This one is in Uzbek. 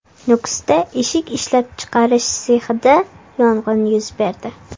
Nukusda eshik ishlab chiqarish sexida yong‘in yuz berdi.